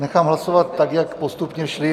nechám hlasovat tak, jak postupně šly.